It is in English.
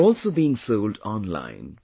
They are also being sold online